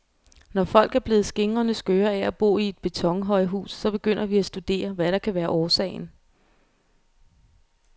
Når folk er blevet skingrende skøre af at bo i et betonhøjhus, så begynder vi at studere, hvad der kan være årsagen.